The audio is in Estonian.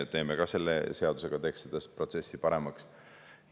Ja selle seadusega me teeme seda protsessi paremaks.